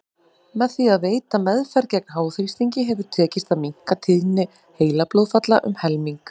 Með því að veita meðferð gegn háþrýstingi hefur tekist að minnka tíðni heilablóðfalla um helming.